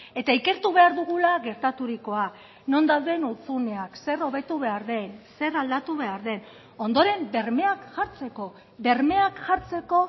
eta ikertu behar dugula gertaturikoa non dauden hutsuneak zer hobetu behar den zer aldatu behar den ondoren bermeak jartzeko bermeak jartzeko